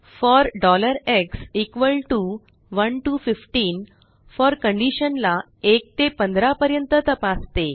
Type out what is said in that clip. four x 1 to 15 for condition ला 1 ते 15पर्यंत तपासते